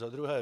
Za druhé.